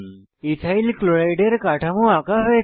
ethyl chloride এর কাঠামো আঁকা হয়েছে